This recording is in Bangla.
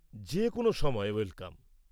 -যেকোনো সময় ওয়েলকাম।